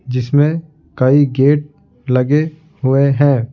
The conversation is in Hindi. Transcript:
जिसमें कई गेट लगे हुए हैं।